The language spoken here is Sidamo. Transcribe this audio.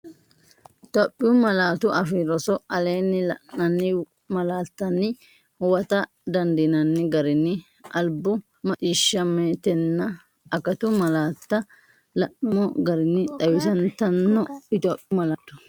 Itophiyu Malaatu Afii Roso Aleenni la’inanni malaattanni huwata dandiinanni garinni albu, maccii- shshammetenna akatu malaatta la’nummo garinni xawisantanno Itophiyu Malaatu.